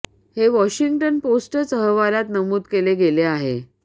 हे वॉशिंग्टन पोस्टच अहवालात नमूद केले गेले आहे